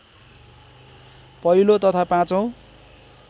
पहिलो तथा पाँचौं